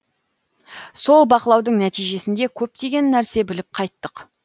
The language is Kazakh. сол бақылаудың нәтижесінде көптеген нәрсе біліп қайттық